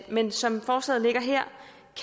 men som forslaget ligger her